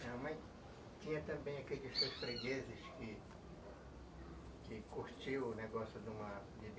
Minha mãe tinha também aqueles três fregueses que que curtiam o negócio